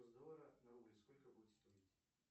нр сколько будет стоить